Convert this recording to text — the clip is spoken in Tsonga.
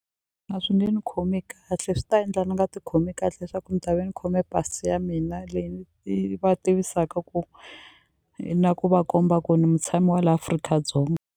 A swi nge ni khomi kahle swi ta endla ni nga ti khomi kahle leswaku ni ta ve ni khome pasi ya mina leyi yi va tivisaka ku na ku va komba ku ni mutshami wa la Afrika-Dzonga.